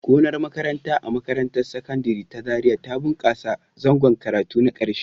Gonar makaranta a makarantar Sakandare ta Zariya ta bunƙasa a zangon karatu na ƙarshe.